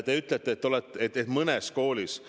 Te ütlete, et kolded on mõnes koolis.